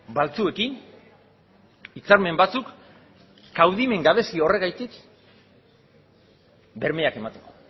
batzuekin hitzarmen batzuk kaudimen gabezi horregatik bermeak emateko